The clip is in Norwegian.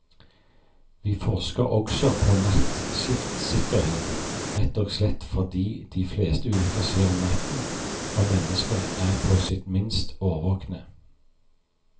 Vi forsker også på nattskiftsikkerhet, rett og slett fordi de fleste ulykker skjer om natten, når mennesket er på sitt minst årvåkne.